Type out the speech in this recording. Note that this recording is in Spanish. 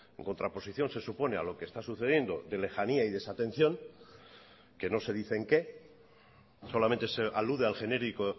en contraposición se supone a lo que está sucediendo de lejanía y desatención que no se dice en qué solamente se alude al genérico